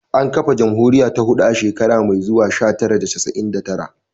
An kafa jamhuriya ta hudu a shekara mai zuwa, sha tara da casa'in da tara